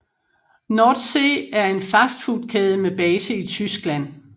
Nordsee er en fastfoodkæde med base i Tyskland